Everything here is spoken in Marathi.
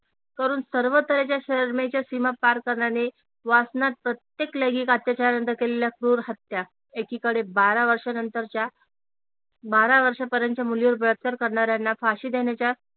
करून सर्व तऱ्हेच्या सीमा पार करणारे वासनात प्रत्येक लैंगिक अत्याचारानंतर केलेल्या क्रूर हत्या एकीकडे बारा वर्षानंतरच्या बारा वर्षापर्यंतच्या मुलीवर बलात्कार करणाऱ्यांना फाशी देण्याच्या